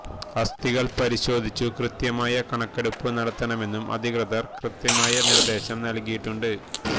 ആസ്ഥികള് പരിശോധിച്ചു കൃത്യമായ കണക്കെടുപ്പു നടത്തണമെന്നും അധികൃതര് കൃത്യമായ നിര്ദേശം നല്കിയിട്ടുണ്ട്